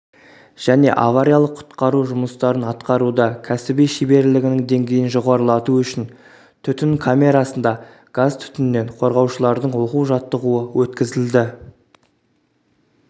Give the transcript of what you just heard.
және авариялық-құтқару жұмыстарын атқаруда кәсіби шеберлігінің деңгейін жоғарылату үшін түтін камерасында газ-түтіннен қорғаушылардың оқу-жаттығуы өткізілді